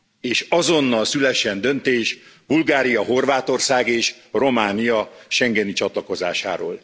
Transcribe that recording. És azonnal szülessen döntés, Bulgária, Horvátország és Románia schengeni csatlakozásáról.